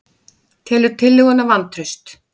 Telur tillöguna vantraust